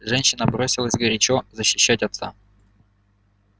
женщина бросилась горячо защищать отца